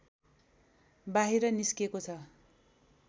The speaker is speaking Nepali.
बाहिर निस्केको छ